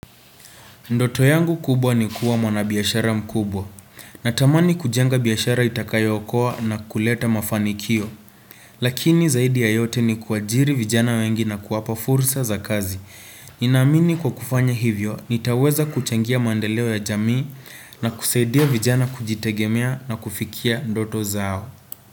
Ndoto yangu kubwa ni kuwa mwanabiashara mkubwa natamani kujenga biashara itakayookoa na kuleta mafanikio lakini zaidi ya yote ni kuajiri vijana wengi na kuwapa fursa za kazi ninaamini kwa kufanya hivyo nitaweza kuchangia maendeleo ya jamii na kusaidia vijana kujitegemea na kufikia ndoto zao.